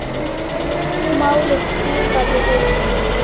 Málið gufaði upp.